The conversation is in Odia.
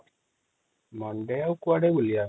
ଆମେ ଆଉ କୁଆଡେ ବୁଲିବା |